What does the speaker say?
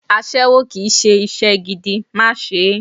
Aṣẹ́wó kì í ṣe iṣẹ́ gidi, má ṣe é!